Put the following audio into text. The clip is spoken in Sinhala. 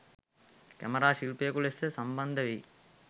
කැමරා ශිල්පියෙකු ලෙස සම්බන්ධ වෙයි.